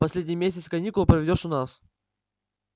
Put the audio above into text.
последний месяц каникул проведёшь у нас